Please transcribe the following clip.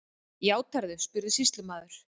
Játarðu, spurði sýslumaður.